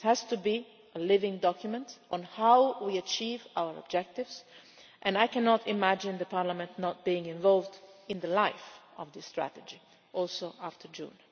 This has to be a living document on how we achieve our objectives, and I cannot imagine Parliament not being involved in the life of this strategy after June.